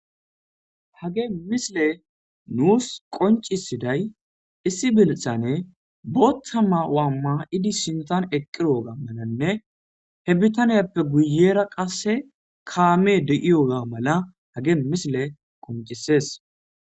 Hage misile nuus qoncisiday issi binihane bottama waamma idi sintan eqqiwoga mananne he bitaniyappe guyera qasse kaame de'iyoga mala hage misile qoncisees.